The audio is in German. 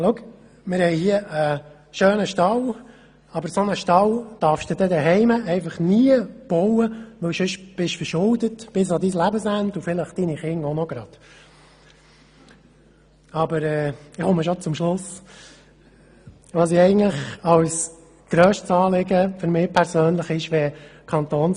«Schau, wir haben hier einen schönen Stall, aber so einen Stall darfst du zu Hause nie bauen, weil du sonst bis an dein Lebensende verschuldet bist und vielleicht deine Kinder gleich auch noch».